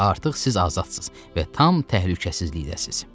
Artıq siz azadsız və tam təhlükəsizlikdəsiz.